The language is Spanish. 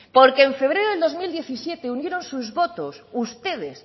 porque en febrero de dos mil diecisiete unieron sus votos ustedes